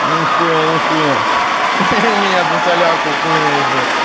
нихуя нихуя ха-ха меня за солярку хуй наебёшь